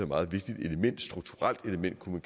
meget vigtigt element et strukturelt element kunne